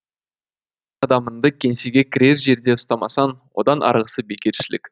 адамыңды кеңсеге кірер жерде ұстамасаң одан арғысы бекершілік